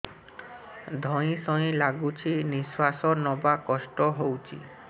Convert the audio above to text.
ଧଇଁ ସଇଁ ଲାଗୁଛି ନିଃଶ୍ୱାସ ନବା କଷ୍ଟ ହଉଚି